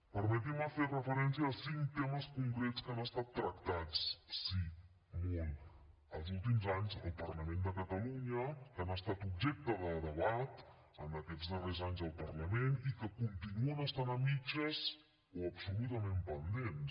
permetin me fer referència a cinc temes concrets que han estat tractats sí molt els últims anys al parlament de catalunya que han estat objecte de debat en aquests darrers anys al parlament i que continuen estant a mitges o absolutament pendents